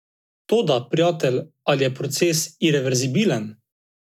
Toda, prijatelj, ali je proces ireverzibilen?